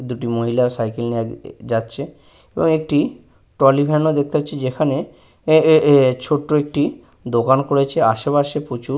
দুটি মহিলা সাইকেল নিয়ে আ এ যাচ্ছে এবং একটি ট্রলি ভ্যান ও দেখতে পাচ্ছি যেখানে এ এ এ একটি ছোট্ট একটি দোকান করেছে। আশেপাশে প্রচুর--